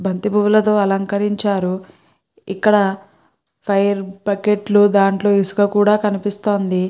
బంతి పూలతో అలకరించారు ఇక్క్కడ బకెట్లు దాంట్లో ఇసుక కూడా కనిపిస్తుంది.